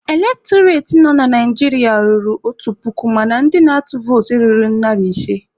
Elektọreti nọ na Naijiria ruru otu puku mana ndị na-atụ votu erughị narị ise.